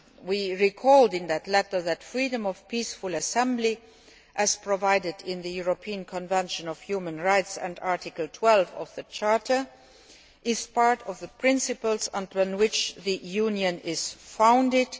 We recalled in that letter that freedom of peaceful assembly, as provided for in the European Convention on Human Rights and Article 12 of the Charter, is one of the principles on which the Union is founded.